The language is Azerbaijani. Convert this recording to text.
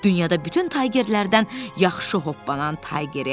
Dünyada bütün taygerlərdən yaxşı hoppanan Taygeri.